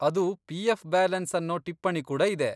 ಅದು PF. Balance ಅನ್ನೋ ಟಿಪ್ಪಣಿ ಕೂಡ ಇದೆ.